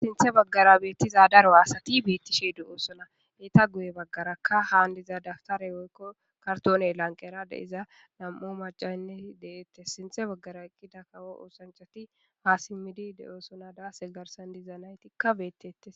sinthe baggara beettiza daro aasati beettishe de7oosona eeta guye baggarakka haan diza daftare woykko kartoney lanqera de7iza nam7u macanne deette sinthe baggara eqqida kawo oosanchati ha simmidi de7oosona daase garsan diza naytikka beettettes